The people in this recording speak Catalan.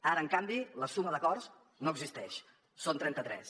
ara en canvi la suma d’acords no existeix són trenta tres